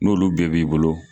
N'olu bɛɛ b'i bolo.